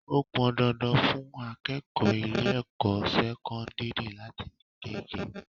Ó pọn dandan fún akẹ́kọ̀ọ́ ilé ẹ̀kọ́ sẹ́kọ́ńdírì láti ni gege.